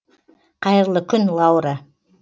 қайырлы күн лаура